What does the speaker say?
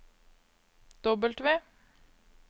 W